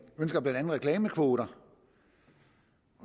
ønsker blandt andet reklamekvoter